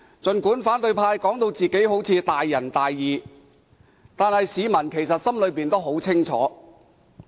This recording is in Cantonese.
儘管反對派把自己說得大仁大義，但市民心裏十分清楚。